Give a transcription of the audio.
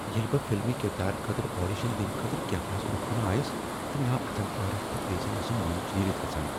ییٚلہ بہٕ فلمی کردارٕ خٲطرٕ آڈیشن دنہٕ خٲطرٕ کیمراہس برٛونٛہہ کنہ آیس تہٕ مےٚ آو اتھن عٲرق تہٕ بیٚیہ زن ٲسٕم وٲنج نیرتھ گژھان۔